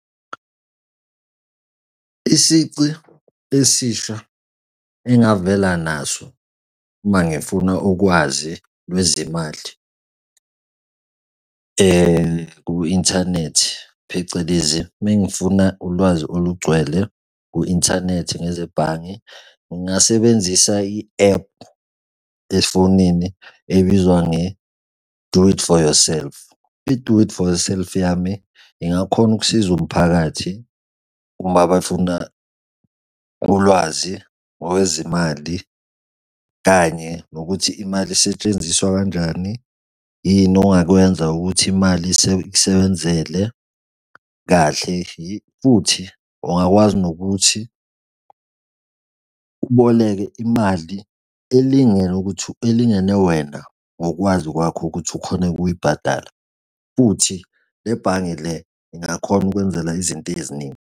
Isici esisha engavela naso uma ngifuna ukwazi lwezemali ku-inthanethi phecelezi mengifuna ulwazi olugcwele ku-inthanethi ngezebhange. Ngingasebenzisa i-ephu efonini ebizwa nge-do it for yourself. I-do it for yourself yami ingakhona ukusiza umphakathi uma befuna ulwazi ngokwezimali kanye nokuthi imali isetshenziswa kanjani? Yini ongakwenza ukuthi imali iksebenzele kahle? Futhi ungakwazi nokuthi uboleke imali elingene ukuthi elingene wena ngokwazi kwakho ukuthi ukhone ukuyibhadala. Futhi le bhange le ingakhona ukwenzela izinto eziningi.